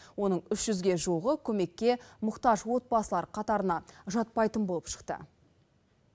оның үш жүзге жуығы көмекке мұқтаж отбасылар қатарына жатпайтын болып шықты